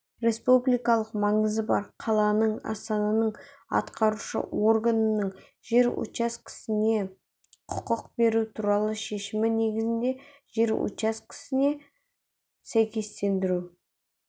республикалық маңызы бар қаланың астананың атқарушы органының жер учаскесіне құқық беру туралы шешімі негізінде жер учаскесіне сәйкестендіру